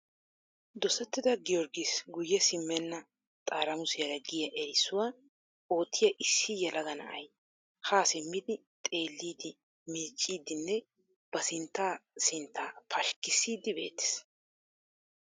Dosettida Giyoorggiis guyye simmena xaaramussiyaara giyaa erissuwaa oottiyaa issi yelaga na'ay ha simmidi xeellidi miiccidinne ba sintta sintta pashkkissidi beettees.